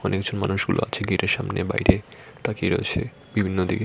অনেকজন মানুষগুলো আছে গেটের সামনে বাইরে তাকিয়ে রয়েছে বিভিন্ন দিকে।